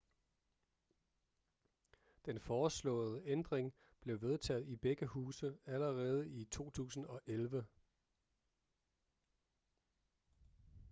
den foreslåede ændring blev vedtaget i begge huse allerede i 2011